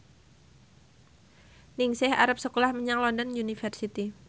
Ningsih arep sekolah menyang London University